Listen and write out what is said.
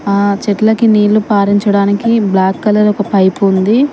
ఆ చెట్లకి నీళ్ళు పారించడానికి బ్లాక్ కలర్ ఒక పైపు ఉంది.